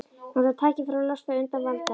Nota tækifærið og losna undan valdi hans.